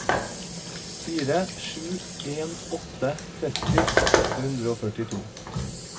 fire sju en åtte tretti åtte hundre og førtito